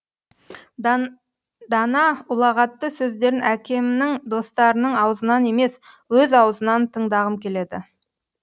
дана ұлағатты сөздерін әкемнің достарының аузынан емес өз аузынан тыңдағым келеді